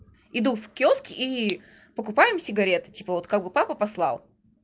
иду в киоск и покупаем сигареты типа вот как бы папа послал